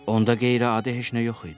Onda qeyri-adi heç nə yox idi.